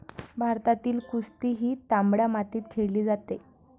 भारतातील कुस्ती ही तांबड्या मातीत खेळली जाते.